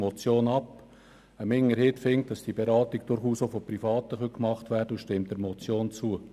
Eine Minderheit findet, diese Beratung könne durchaus auch von Privaten angeboten werden, und stimmt der Motion zu.